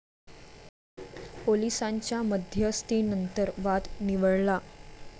पोलिसांच्या मध्यस्थीनंतर वाद निवळला.